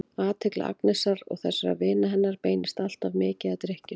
Athygli Agnesar og þessara vina hennar beinist alltof mikið að drykkjunni.